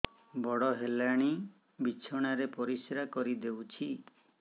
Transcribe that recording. ବଡ଼ ହେଲାଣି ବିଛଣା ରେ ପରିସ୍ରା କରିଦେଉଛି